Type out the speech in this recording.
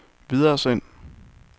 videresend